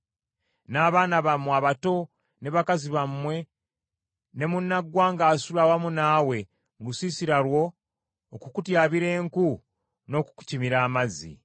n’abaana bammwe abato, ne bakazi bammwe, ne munnaggwanga asula awamu naawe mu lusiisira lwo, okukutyabira enku, n’okukukimira amazzi.